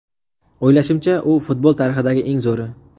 O‘ylashimcha, u futbol tarixidagi eng zo‘ri.